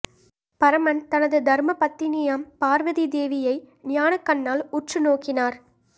பரமன் தனது தர்ம பத்தினியாம் பார்வதி தேவியை ஞானக் கண்ணால் உற்று நோக்கினார்